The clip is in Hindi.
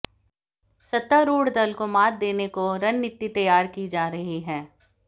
सत्तारूढ़ दल को मात देने को रणनीति तैयार की जा रही है